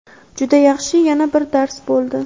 Juda yaxshi yana bir dars bo‘ldi.